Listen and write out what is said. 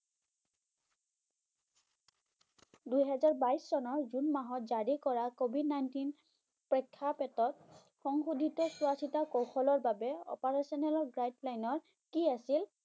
দুহেজাৰ বাইছ চনৰ জুন মাহত জাৰি কৰা covid nineteen প্ৰেক্ষাপটত সংশোধিত চোৱাচিতা কৌশলৰ বাবে operational guideline কি আছিল?